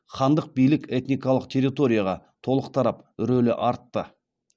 хандық билік этникалық территорияға толық тарап рөлі артты